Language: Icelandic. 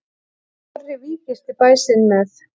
Snorri víggirti bæ sinn með.